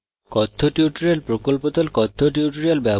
কথ্য tutorial প্রকল্প the